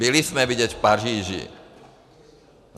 Byli jsme vidět v Paříži.